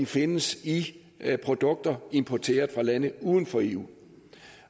findes i produkter importeret fra lande uden for eu